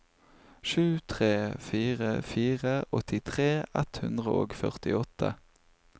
sju tre fire fire åttitre ett hundre og førtiåtte